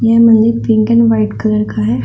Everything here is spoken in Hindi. इनमें पिंक एंड व्हाइट कलर का है।